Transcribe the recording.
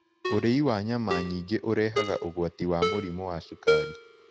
Ũrĩĩ wa nyama nyĩngĩ ũrehaga ũgwatĩ wa mũrĩmũ wa shũkarĩ